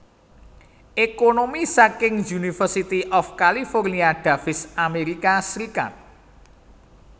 Ekonomi saking University of California Davis Amerika Serikat